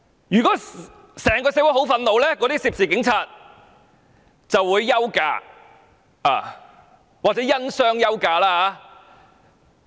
如果整個社會很憤怒，涉事警員就會休假或因傷休假。